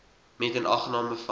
met inagneming van